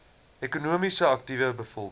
ekonomies aktiewe bevolking